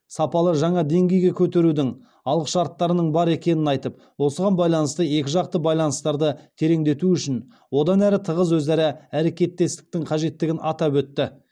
сапалы жаңа деңгейге көтерудің алғышарттарының бар екенін айтып осыған байланысты екіжақты байланыстарды тереңдету үшін одан әрі тығыз өзара әрекеттестіктің қажеттігін атап өтті